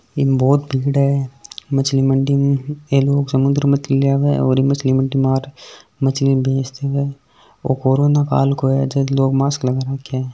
ईम बहुत भीड़ है मछली मंडी मे ये लोग मछली लेने आरे है मछली मंडी मे कोरोना काल मे लोग मास्क लगा रखे है।